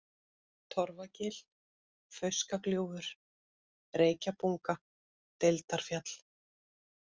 Torfagil, Fauskagljúfur, Reykjabunga, Deildarfjall